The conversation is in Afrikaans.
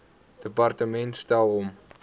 departement stel hom